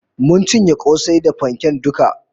Mun cinye kosai da fanken duka